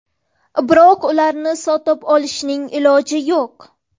Biroq ularni sotib olishning iloji yo‘q.